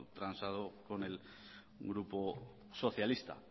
transado con el grupo socialista